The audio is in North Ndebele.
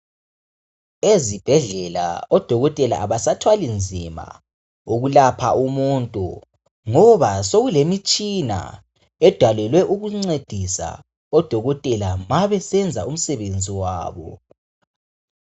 Ezibhedlela odokotela abasathwali nzima, okulapha umuntu, ngoba sokulomitshina edalelwe ukuncedisa odokotela mabesenza umsebenzi wabo.